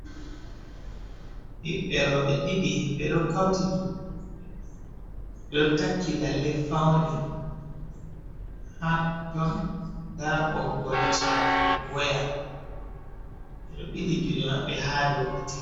Ɓibbe roɓe ɗiɗi, ɓeɗo kauti juɗe maɓɓe, ɓeɗo taki lalle fauni ha to bo nda boggol chaji waya ɓeɗo ɓili juɗe maɓɓe ha dow katifa.